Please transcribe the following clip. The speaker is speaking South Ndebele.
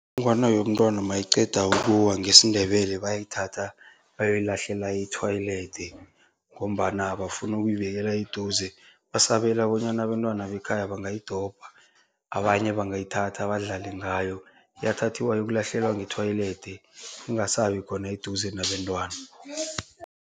Inongwana yomntwana mayiqeda ukuwa, ngesiNdebele bayayithatha bayoyilahlela e-toilet ngombana abafuni ukuyibekela eduze. Basabela bonyana abentwana bekhaya bangayidobha, abanye bangayithatha badlale ngayo. Iyathathiwa iyokulahliwa nge-toilet ingasabi khona eduze nabentwana.